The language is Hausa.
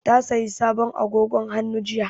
Ta sayi sabon agogon hannu jiya